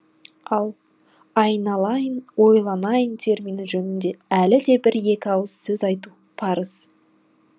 ал аи ланаи ын ои ланаи ын термині жөнінде әлі де бір екі ауыз сөз айту парыз